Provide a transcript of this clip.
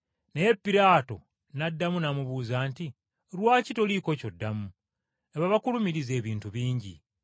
Naye Piraato n’addamu n’amubuuza nti, “Lwaki toliiko ky’oddamu? Laba bakulumiriza ebintu bingi.”